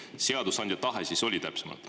Mis see seadusandja tahe siis oli?